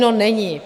No není.